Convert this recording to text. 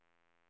räcker